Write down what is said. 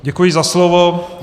Děkuji za slovo.